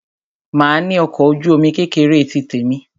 Màá ní ọkọ̀ ojú-omi kékeré tí tèmi.